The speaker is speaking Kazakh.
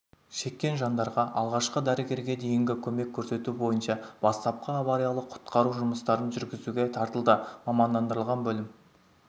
шеккен жандарға алғашқы дәрігерге дейінгі көмек көрсету бойынша бастапқы авариялық-құтқару жұмыстарын жүргізуге тартылды мамандандырылған бөлім